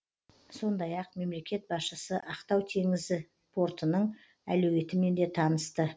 сондай ақ мемлекет басшысы ақтау теңізі портының әлеуетімен де танысты